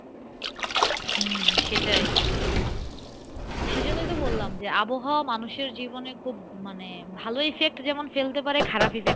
হম সেটাই সে জন্যই তো বললাম যে, আবহাওয়া মানুষের জীবনে খুব মানে ভালো effect যেমন ফেলতে পারে খারাপ effect